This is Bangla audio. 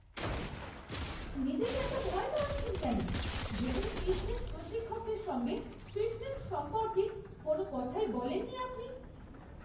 নিজেকে এত ভয় পাওয়াচ্ছেন কেন যেখানে ফিটনেস প্রশিক্ষকের সঙ্গে ফিটনেস সম্পর্কে কোনও কথাই বলেন নি আপনি!